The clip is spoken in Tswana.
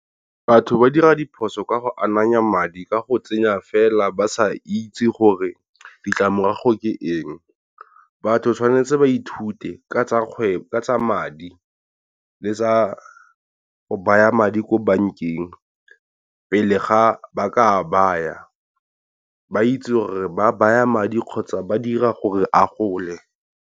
Batho ba dira diphoso ka go ananya madi ka go tsenya fela ba sa itse gore ditlamorago ke eng, batho tshwanetse ba ithute ka tsa kgwebo ka tsa madi le tsa go baya madi ko bank-eng pele ga ba ka baya ba itse gore ba baya madi kgotsa ba dira gore a gole.